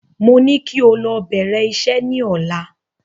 Mo ní kí o lọ bèrè isẹ́ ní ọ̀la